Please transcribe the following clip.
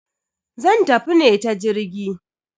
Zan tafi ne ta jirgi.